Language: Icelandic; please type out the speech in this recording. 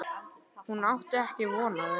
Hún átti ekki von á þeim.